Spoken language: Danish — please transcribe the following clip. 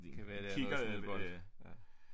Det kan være der er noget